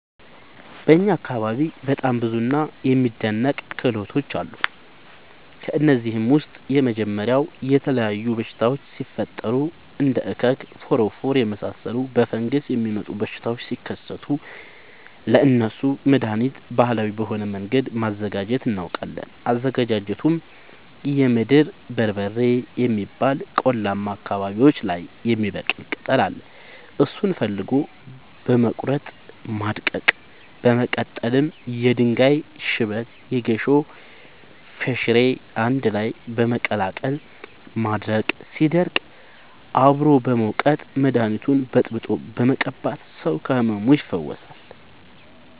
በእኛ አካባቢ በጣም ብዙ እና የሚደናንቅ ክህሎቶች አሉ። ከእነሱም ውስጥ የመጀመሪያው የተለያዩ በሽታወች ሲፈጠሪ እንደ እከክ ፎረፎር የመሳሰሉ በፈንገስ የሚመጡ በሽታዎች ሲከሰቱ ለእነሱ መደሀኒት ባህላዊ በሆነ መንገድ ማዘጋጀት እናውቃለን። አዘገጃጀቱመሸ የምድር በርበሬ የሚባል ቆላማ አካባቢዎች ላይ የሚበቅል ቅጠል አለ እሱን ፈልጎ በመቀለረጥ ማድረቅ በመቀጠልም የድንጋይ ሽበት የጌሾ ፈሸሬ አንድላይ በመቀላቀል ማድረቅ ሲደርቅ አብሮ በመውቀጥ መደኒቱን በጥብጦ በመቀባት ሰው ከህመሙ ይፈወሳል።